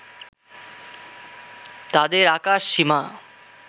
তাদের আকাশসীমা